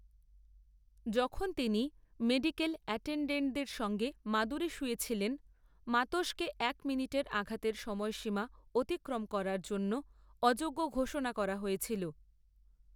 যখন তিনি মেডিকেল অ্যাটেনডেন্টদের সঙ্গে মাদুরে শুয়ে ছিলেন, মাতোসকে এক মিনিটের আঘাতের সময়সীমা অতিক্রম করার জন্য অযোগ্য ঘোষণা করা হয়েছিল।